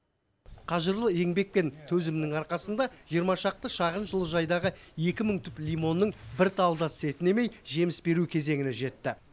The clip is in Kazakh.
қажырлы еңбек пен төзімнің арқасында жиырма шақты шағын жылыжайдағы екі мың түп лимонның бір талы да сетінемей жеміс беру кезеңіне жетті